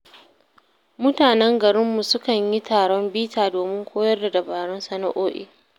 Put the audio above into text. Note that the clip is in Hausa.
Mutanen garinmu sukan yi taron bita domin koyar da dabarun sana’o’i.